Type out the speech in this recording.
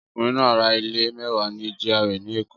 Ọkùnrin náà ra ilé mẹ́wàá ní GRA ní Èkó